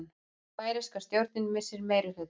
Færeyska stjórnin missir meirihluta